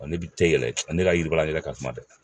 Ɔ ne bɛ tɛ yɛlɛ, ne ka jiriba yɛrɛ ka suma dɛ.